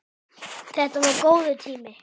Þetta var góður tími.